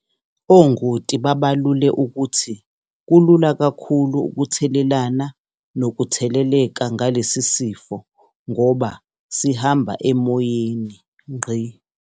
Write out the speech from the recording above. Ongoti babalule ukuthi kulula kakhulu ukuthelelana nokutheleleka ngalesisifo ngoba sihamba emoyeni.